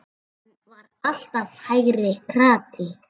Hann var alltaf hægri krati!